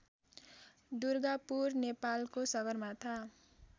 दुर्गापुर नेपालको सगरमाथा